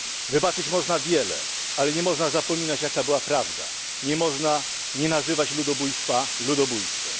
Wybaczyć można wiele, ale nie można zapominać, jaka była prawda, nie można nie nazywać ludobójstwa ludobójstwem.